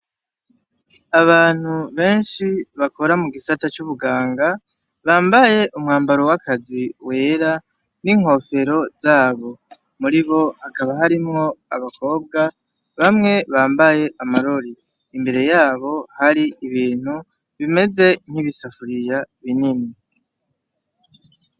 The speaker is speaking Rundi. Abantu benshi bakora mu gisata c'ubuganga bambaye umwambaro w'akazi wera n'inkofero zabo muri bo hakaba harimwo abakobwa bamwe bambaye amarori imbere yabo hari ibintu bimeze nk'ibisafuriya binini geigega.